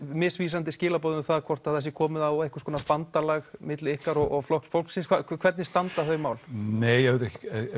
misvísandi skilaboð um hvort það sé komið á einhvers konar bandalag milli ykkar og Flokks fólksins hvernig standa þau mál nei auðvitað er